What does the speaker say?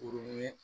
Kurun ye